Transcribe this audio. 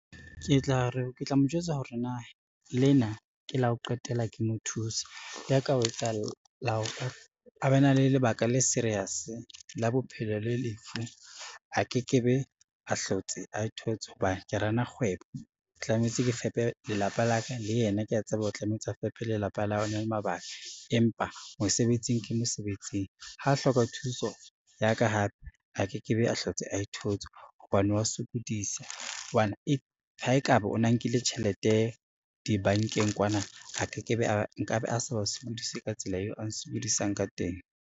Ke tla mo jwetsa hore na lena ke la ho qetela ke mo thusa, le ha ka ho etsahalla a ba na le lebaka le serious la bophelo le lefu a ke ke be a hlotse ae thotse hobane ke run-a kgwebo. Tlametse ke fepe lelapa la ka le yena kea tseba o tlametse a fepe lelapa la hao o na le mabaka, empa mosebetsing ke mosebetsing, ha a hloka thuso ya ka hape a ke ke be a hlotse ae thotse hobane wa sokodisa, hobane ha ekaba o na nkile tjhelete dibankeng kwana, nkabe a sa ba sokodise ka tsela eo a nsokodisang ka teng.